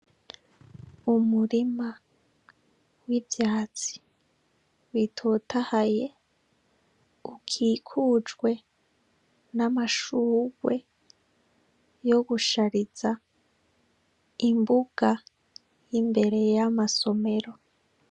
Umurima w' ivyatsi bitotahaye ukikujwe amashugwe yo gushariza imbuga imbere y' amasomero.